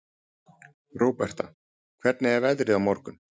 Róberta, hvernig er veðrið á morgun?